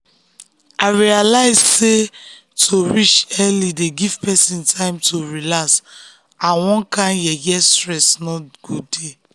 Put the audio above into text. i realize sey to reach early dey give person time to relax and one kind yeye stress no go dey.